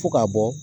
Fo ka bɔ